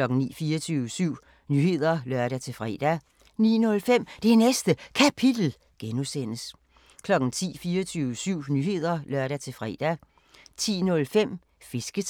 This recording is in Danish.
24syv Nyheder (lør-fre) 09:05: Det Næste Kapitel (G) 10:00: 24syv Nyheder (lør-fre) 10:05: Fisketegn